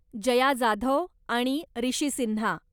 जया जाधव आणि रिशी सिन्हा.